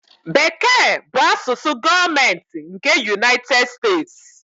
Bekee bụ asụsụ gọọmentị nke United States.